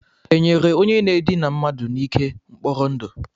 E nyere onye na-edina mmadu n'ike mkpọrọ ndụ?